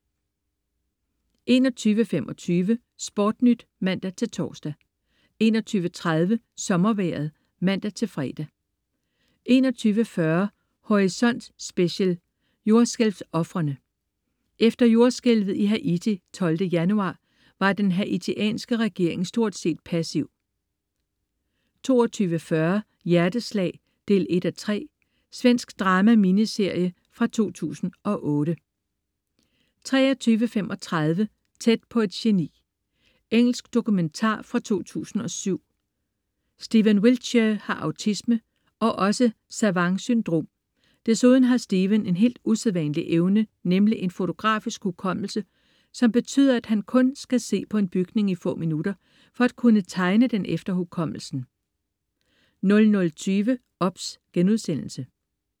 21.25 SportNyt (man-tors) 21.30 Sommervejret (man-fre) 21.40 Horisont Special: Jordskælvsofrene. Efter jordskælvet i Haiti den 12 januar var den haitianske regering stort set passive 22.40 Hjerteslag 1:3. Svensk drama-miniserie fra 2008 23.35 Tæt på et geni. Engelsk dokumentar fra 2007. Stephen Wiltshire har autisme, og også savant-syndrom. Desuden har Stephen en hel usædvanlig evne, nemlig en fotografisk hukommelse, som betyder, at han kun skal se på en bygning i få minutter for at kunne tegne den efter hukommelsen 00.20 OBS*